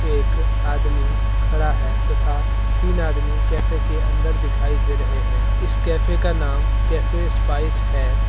एक आदमी खड़ा है तथा तीन आदमी कैफे के अंदर दिखाई दे रहे है इस कैफे का नाम कैफे स्पाइस हैं।